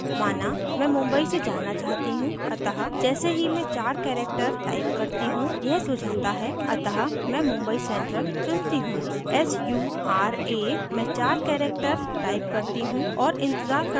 माना मैं mumbai से जाना चाहती choose अतः जैसे ही मैं चार characters type करती choose यह सुझाता है अतः मैं mumbai central चुनती choose sura मैं चार characters type करती choose और इंतज़ार करती choose